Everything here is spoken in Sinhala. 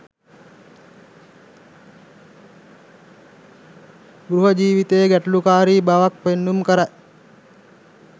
ගෘහ ජීවිතයේ ගැටලුකාරී බවක් පෙන්නුම් කරයි.